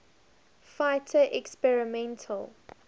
fighter experimental